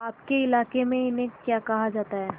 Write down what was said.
आपके इलाके में इन्हें क्या कहा जाता है